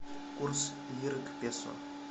курс лиры к песо